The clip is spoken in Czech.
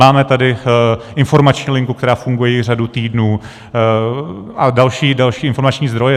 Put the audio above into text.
Máme tady informační linku, která funguje již řadu týdnů, a další informační zdroje.